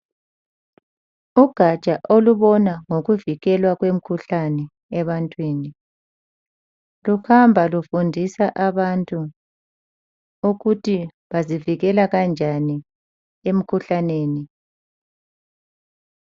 Ugatsha olubona ngokuvikelwa kwemikhuhlane ebantwini, luhamba lufundisa abantu ukuthi bangazivikela njani emkhuhlaneni.